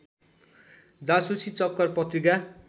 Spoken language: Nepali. जासुसी चक्कर पत्रिका